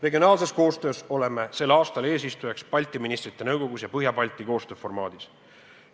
Regionaalses koostöös oleme sel aastal eesistujaks Balti Ministrite Nõukogus ja Põhja-Balti koostööformaadis.